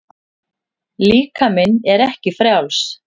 Líkaminn er ekki frjáls.